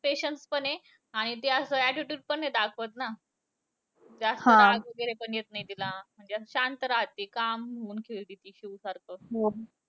Patience पण आहे. आणि ती असं attitude पण नाही दाखवत ना. जास्त राग वगैरे पण येत नाही तिला. शांत राहती calm होऊन खेळती ती शिवसारखं.